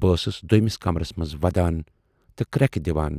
بہٕ ٲسٕس دویمِس کمرس منز ودان تہٕ کرٮ۪کہٕ دِوان